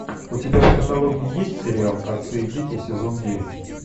у тебя в каталоге есть сериал отцы и дети сезон девять